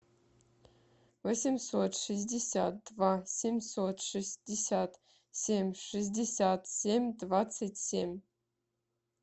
восемьсот шестьдесят два семьсот шестьдесят семь шестьдесят семь двадцать семь